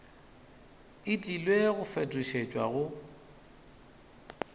e tlile go fetošetšwa go